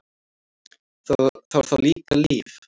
Það var þá líka líf!